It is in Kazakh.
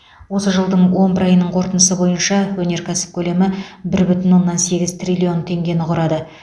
осы жылдың он бір айының қорытындысы бойынша өнеркәсіп көлемі бір бүтін оннан сегіз триллион теңгені құрады